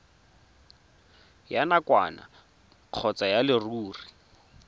ya nakwana kgotsa ya leruri